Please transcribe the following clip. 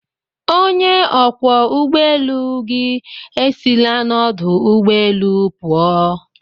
Onye ọkwọ ụgbọ elu gị esila n'ọdụ ụgbọ elu pụọ